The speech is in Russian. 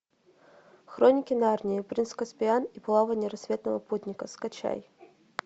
хроники нарнии принц каспиан и плавание рассветного путника скачай